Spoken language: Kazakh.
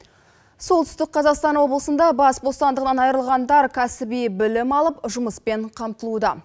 солтүстік қазақстан облысында бас бостандығынан айырылғандар кәсіби білім алып жұмыспен қамтылуда